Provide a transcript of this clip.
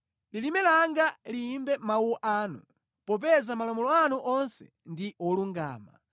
Lilime langa liyimbe mawu anu, popeza malamulo anu onse ndi olungama.